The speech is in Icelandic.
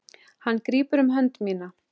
Hann grípur um hönd mína.